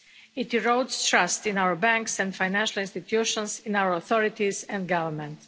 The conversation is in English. It erodes trust in our banks and financial institutions, in our authorities and our governments.